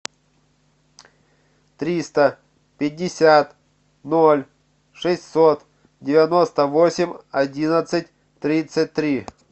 триста пятьдесят ноль шестьсот девяносто восемь одиннадцать тридцать три